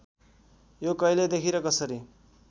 यो कहिलेदेखि र कसरी